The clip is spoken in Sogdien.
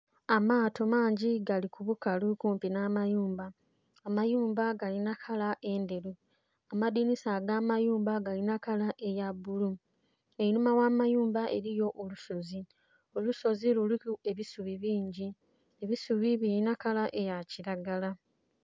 Amaato mangi gali ku bukalu kumpi nha mayumba, amayumba galinha kala endheru, amadhinisa aga mayumba galina kala eya bbulu, einhuma gha mayumba eriyo olusozi, olusozi luliku ebisubi bingi, ebisubi bilinha kala eya kilagala.